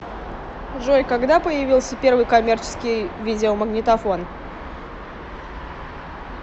джой когда появился первый коммерческий видеомагнитофон